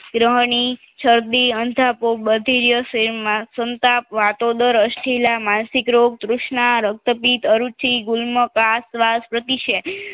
દરહની સરદી અંધાપો બધિરસે માસંતાપ વતોદર અસ્ઠીલા માસિકરોગ તૃસ્ણા રક્તપિત અરુચિ ગુલ્મ કસ વ્યાસ પ્રતિ છે